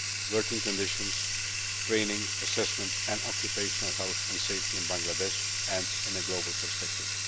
trade, working conditions, training, assessment and occupational health and safety in Bangladesh and in a global perspective.